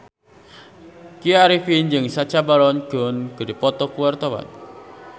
Tya Arifin jeung Sacha Baron Cohen keur dipoto ku wartawan